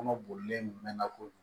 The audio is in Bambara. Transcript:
Kɔnɔ bolilen ka k'o